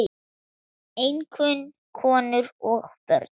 Einkum konur og börn.